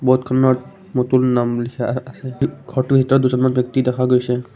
ব'ৰ্ডখনত মটুল নাম লিখা আহ আছে এ ঘৰটোৰ ভিতৰত দুজনমান ব্যক্তি দেখা গৈছে।